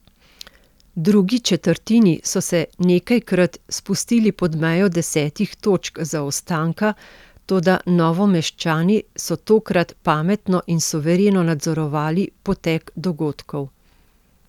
V drugi četrtini so se nekajkrat spustili pod mejo desetih točk zaostanka, toda Novomeščani so tokrat pametno in suvereno nadzorovali potek dogodkov.